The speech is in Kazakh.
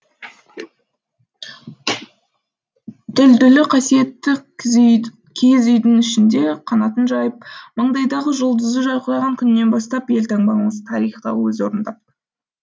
дүлдүлі қасиетті киіз үйдің ішінде қанатын жайып маңдайдағы жұлдызы жарқыраған күнінен бастап елтаңбамыз тарихта өз орын тапты